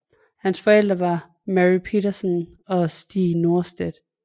Hans forældre var Mary Petersson og Stig Norstedt